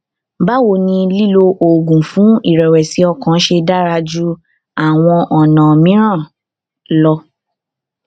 báwo ni lílo oògùn fún ìrẹwẹsì ọkàn ṣe dára ju àwọn ọnà mìíràn lọ